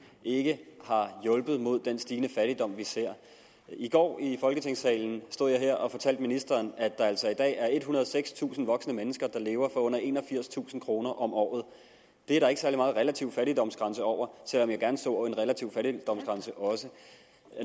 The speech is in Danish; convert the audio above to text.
ikke har hjulpet mod den stigende fattigdom vi ser i går i folketingssalen stod jeg her og fortalte ministeren at der altså i dag er ethundrede og sekstusind voksne mennesker der lever for under enogfirstusind kroner om året det er der ikke særlig meget relativ fattigdoms grænse over selv om jeg også gerne så en relativ fattigdoms grænse